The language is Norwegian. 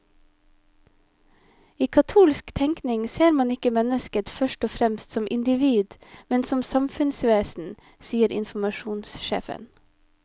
I katolsk tenkning ser man ikke mennesket først og fremst som individ, men som samfunnsvesen, sier informasjonssjefen.